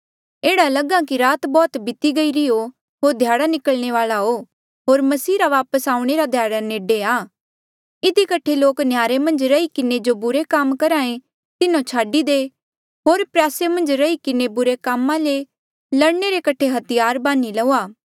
एह्ड़ा लगहा कि रात बौह्त बीती गईरी हो होर ध्याड़ा निकलणे वाल्आ आ होर मसीह रा वापस आऊणें रा ध्याड़ा नेडे आ इधी कठे लोक नह्यारे मन्झ रही किन्हें जो बुरे कामा जो करहे तिन्हो छाडी दे होर प्रयासे मन्झ रही किन्हें बुरे कामा ले लड़ने रे कठे हथियार बान्ही लऊआ